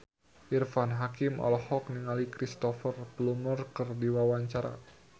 Irfan Hakim olohok ningali Cristhoper Plumer keur diwawancara